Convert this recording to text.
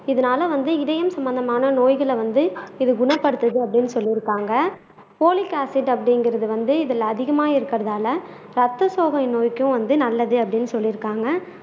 இதனால வந்து இதயம் சம்பந்தமான நோய்களை வந்து இது குணப்படுத்துது அப்படின்னு சொல்லி இருக்காங்க போலீக் ஆசிட் அப்படிங்குறது வந்து இதில் அதிகமா இருக்குறதுனால ரத்தசோகை நோய்க்கும் வந்து நல்லது அப்படின்னு சொல்லி இருக்காங்க